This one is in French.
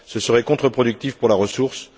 Ce serait contreproductif pour la ressource.